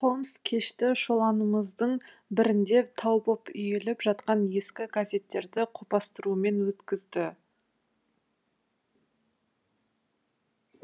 холмс кешті шоланымыздың бірінде тау боп үйіліп жатқан ескі газеттерді қопастырумен өткізді